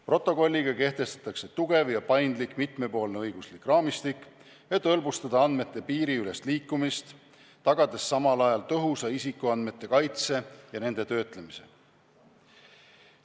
Protokolliga kehtestatakse tugev ja paindlik mitmepoolne õiguslik raamistik, et hõlbustada andmete piiriülest liikumist, tagades samal ajal tõhusa isikuandmete kaitse ja nende töötlemise.